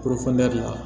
la